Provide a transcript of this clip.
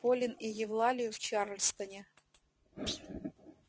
полин и евлалию в чарльстоне